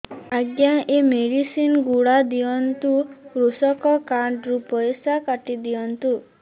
ଆଜ୍ଞା ଏ ମେଡିସିନ ଗୁଡା ଦିଅନ୍ତୁ କୃଷକ କାର୍ଡ ରୁ ପଇସା କାଟିଦିଅନ୍ତୁ